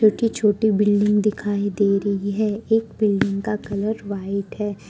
छोटी छोटी बिल्डिंग दिखाई दे रही है एक बिल्डिंग का कलर व्हाइट है।